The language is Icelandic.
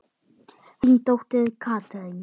Þín dóttir Katrín.